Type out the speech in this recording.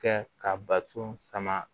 Kɛ ka bato sama